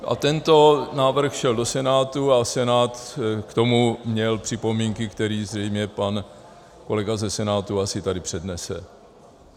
- a tento návrh šel do Senátu a Senát k tomu měl připomínky, které zřejmě pan kolega ze Senátu asi tady přednese.